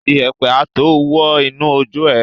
Iyẹ̀pẹ̀ a tó wọ́ inú ojú ẹ.